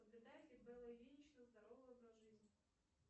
соблюдает ли белла ильинична здоровый образ жизни